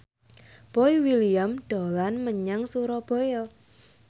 Boy William dolan menyang Surabaya